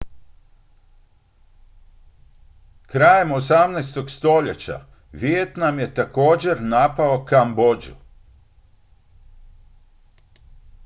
krajem 18. stoljeća vijetnam je također napao kambodžu